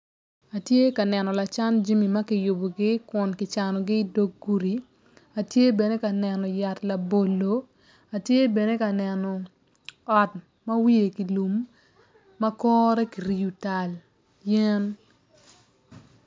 Atye ka neno lacan jami ma ki yubogi Kun ki canogi idog gudi tye bene ka neno yat labolo atye bene ka ot ma wiye ki lum ma kore ki riyo tal yen